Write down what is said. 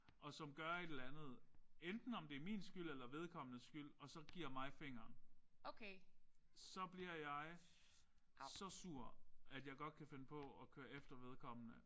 Og som gør et eller andet enten om det er min skyld eller vedkommendes skyld og så giver mig fingeren. Så bliver jeg så sur at jeg godt kan finde på at køre efter vedkommende